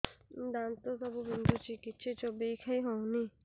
ଦାନ୍ତ ସବୁ ବିନ୍ଧୁଛି କିଛି ଚୋବେଇ ଖାଇ ହଉନି